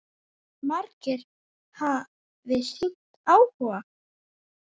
Margir hafi sýnt áhuga.